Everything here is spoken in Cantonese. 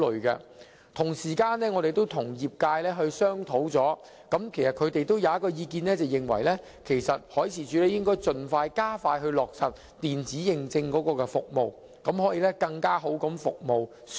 我們曾與業界商討，他們提出了一項意見，便是海事處應該加快落實電子認證服務，以便向船隻提供更好的服務。